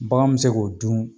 Bagan mi se k'o dun